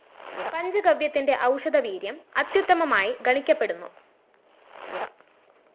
പഞ്ചഗവ്യത്തിന്റെ ഔഷധവീര്യം അത്യുത്തമമായി ഗണിക്കപ്പെടുന്നു